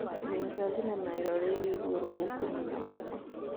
nengera thĩnema ĩroreirio igũrũ gũku mwena wakwa